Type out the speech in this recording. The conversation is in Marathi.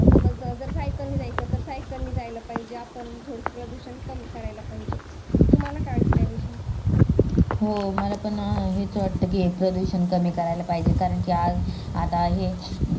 हो मला पण हेच वाटत कि प्रदूषण कमी कराला पाहिजेत कारण कि आज आता हे